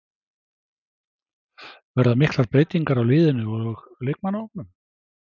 Verða miklar breytingar á liðinu og leikmannahópnum?